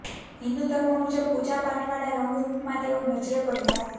હિંદુ ધર્મ મુજબ પૂજા પાઠવાળા રંગ રુપમાં તેઓ નજરે પડ્યા હતા